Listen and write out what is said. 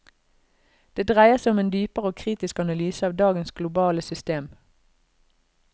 Det dreier seg om en dypere og kritisk analyse av dagens globale system.